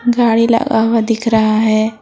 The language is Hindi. गाड़ी लगा हुआ दिख रहा है।